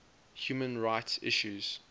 human rights issues